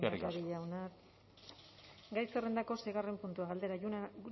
eskerrik asko lehendakari jauna gai zerrendako seigarren puntua galdera